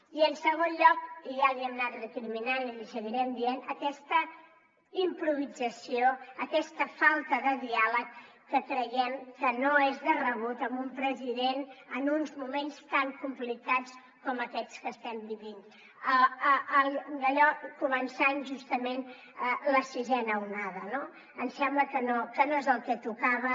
i en segon lloc i ja li hem anat recriminant i li seguirem dient per aquesta improvisació aquesta falta de diàleg que creiem que no és de rebut en un president en uns moments tan complicats com aquests que estem vivint començant justament la sisena onada no em sembla que no és el que tocava